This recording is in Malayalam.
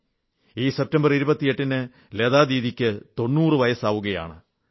ഈ സെപ്റ്റംബർ 28 ന് ലതാ ദീദിക്ക് 90 വയസ്സാവുകയാണ്